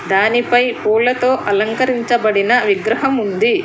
దానిపై పూలతో అలంకరించబడిన విగ్రహం ఉంది.